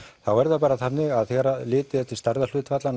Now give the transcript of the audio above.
þá er það bara þannig að þegar litið er til